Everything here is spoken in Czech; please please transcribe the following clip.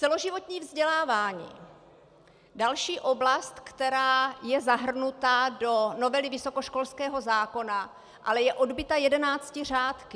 Celoživotní vzdělávání, další oblast, která je zahrnuta do novely vysokoškolského zákona, ale je odbyta jedenácti řádky.